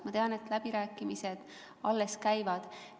Ma tean, et läbirääkimised alles käivad.